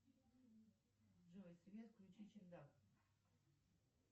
джой свет включи чердак